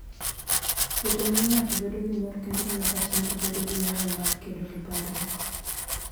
Wuotho miyo ng'ato bedo gi mor kendo miyo pach ng'ato bedo gi nyalo mar kedo gi parruok.